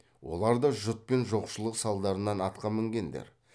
олар да жұт пен жоқшылық салдарынан атқа мінгендер